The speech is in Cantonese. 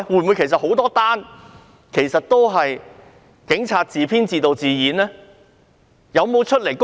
會否有很多宗事件其實也是警察自編自導自演的呢？